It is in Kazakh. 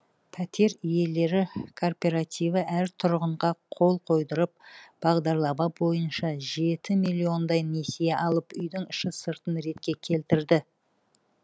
пәтер иелері кооперативі әр тұрғынға қол қойдырып бағдарлама бойынша жеті миллиондай несие алып үйдің іші сыртын ретке келтірді